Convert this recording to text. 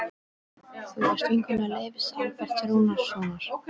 Þú varst vinkona Leifs Alberts Rúnarssonar.